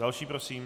Další prosím.